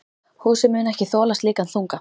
Húsið muni ekki þola slíkan þunga.